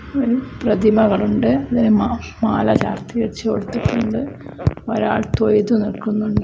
ഒരു പ്രതിമകളുണ്ട് ഇതിന് മാഫ് മാലചാർത്തി വെച്ച് കൊടുത്തിട്ടുണ്ട് ഒരാൾ തൊയ്തു നിൽക്കുന്നുണ്ട്.